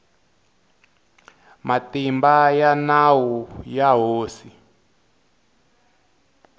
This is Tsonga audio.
matimba ya nawu ya hosi